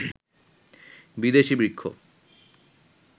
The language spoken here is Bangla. বিদেশি বৃক্ষ